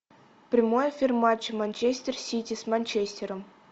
прямой эфир матча манчестер сити с манчестером